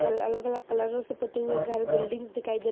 कल अलग - अलग कलरो से पुते हुए घर बिल्डिंग्स दिखाई दे --